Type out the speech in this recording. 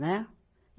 Né?